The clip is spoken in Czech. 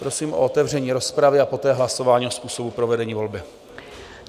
Prosím o otevření rozpravy a poté hlasování o způsobu provedení volby.